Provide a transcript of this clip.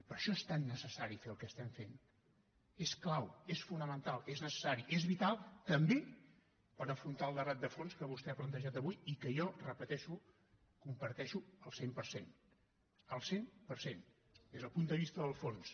per això és tan necessari fer el que estem fent és clau és fonamental és necessari és vital també per afrontar el debat de fons que vostè ha plantejat avui i que jo ho repeteixo comparteixo al cent per cent al cent per cent des del punt de vista del fons